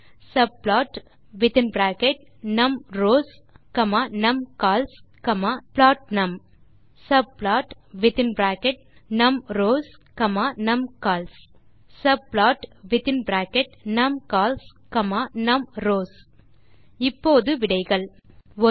subplotநம்ரோஸ் நம்கால்ஸ் புளோட்னம் subplotநம்ரோஸ் நம்கால்ஸ் subplotநம்கால்ஸ் நம்ரோஸ் இப்போது விடைகள் 1